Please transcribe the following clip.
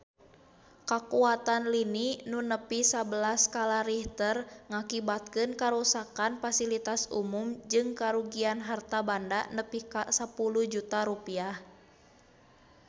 Kakuatan lini nu nepi sabelas skala Richter ngakibatkeun karuksakan pasilitas umum jeung karugian harta banda nepi ka 10 juta rupiah